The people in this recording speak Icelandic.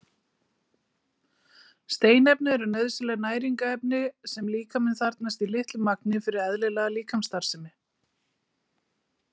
Steinefni eru nauðsynleg næringarefni sem líkaminn þarfnast í litlu magni fyrir eðlilega líkamsstarfsemi.